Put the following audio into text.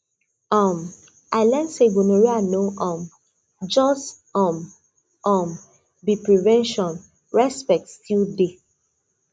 um i learn say gonorrhea no um just um um be prevention respect still dey